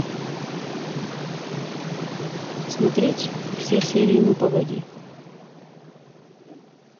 смотреть все серии ну погоди